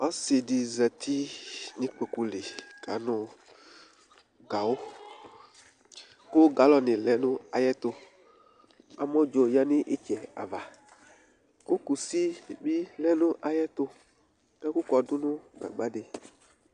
Ɔsɩ dɩ zati nʋ ikpoku li kanʋ gawʋ kʋ galɔnɩ lɛ nʋ ayɛtʋ Amɔdzo yǝ nʋ ɩtsɛ ava kʋ kusi bɩ lɛ nʋ ayɛtʋ, ɛkʋkɔdʋ nʋ gagba dɩ